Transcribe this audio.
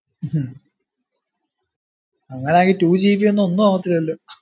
ഹും അങ്ങനാങ്കിൽ twogb യൊന്നും ഒന്നു ആകത്തില്ലല്ലോ